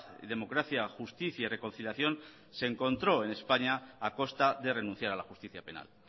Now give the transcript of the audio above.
y democracia justicia y reconciliación se encontró en españa a costa de renunciar a la justicia penal